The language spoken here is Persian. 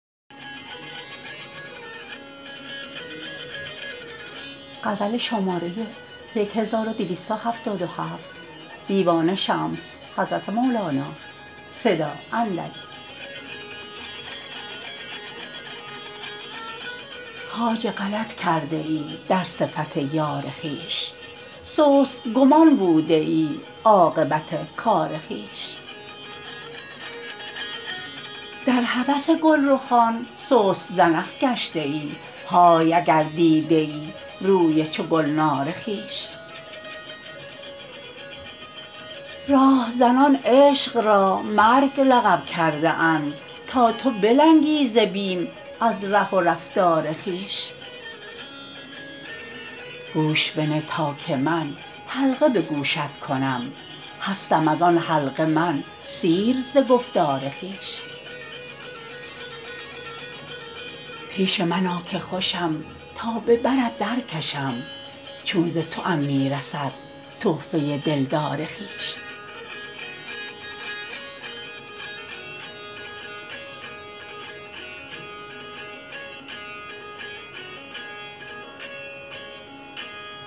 خواجه غلط کرده ای در صفت یار خویش سست گمان بوده ای عاقبت کار خویش در هوس گلرخان سست زنخ گشته ای های اگر دیدیی روی چو گلنار خویش راه زنان عشق را مرگ لقب کرده اند تا تو بلنگی ز بیم از ره و رفتار خویش گوش بنه تا که من حلقه به گوشت کنم هستم از آن حلقه من سیر ز گفتار خویش پیش من آ که خوشم تا به برت درکشم چون ز توام می رسد تحفه دلدار خویش